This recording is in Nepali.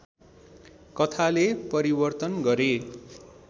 कथाले परिवर्तन गरे